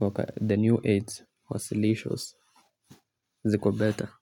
waka the new age wa silisho ziko beta.